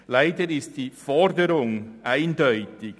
Leider ist die Forderung eindeutig: